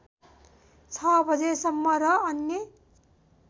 ६ बजेसम्म र अन्य